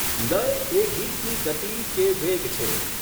લય એ ગીતની ગતિ કે વેગ છે.